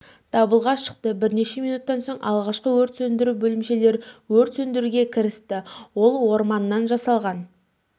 дабылға шықты бірнеше минуттан соң алғашқы өрт сөндіру бөлімшелері өрт сөндіруге кірісті ол орманнан жасалған